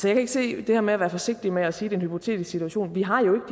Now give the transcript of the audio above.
ikke se det her med at være forsigtig med at sige at en hypotetisk situation vi har jo